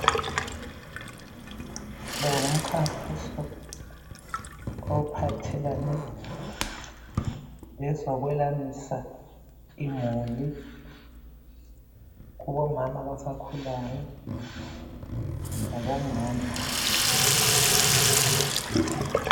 Lo ngumkhankaso ophathelane lezokwelamisa imuli kubomama abasakhulayo labomama